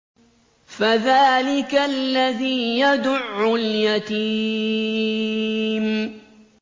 فَذَٰلِكَ الَّذِي يَدُعُّ الْيَتِيمَ